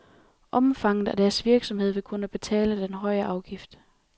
Omfanget af deres virksomhed vil skulle betale den høje afgift.